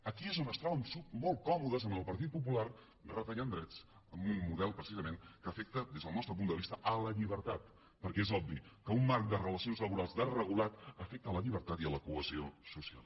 aquí és on es troben molt còmodes amb el partit popular retallant drets amb un model precisament que afecta des del nostre punt de vista la llibertat perquè és obvi que un marc de relacions laborals desregulat afecta la llibertat i la cohesió social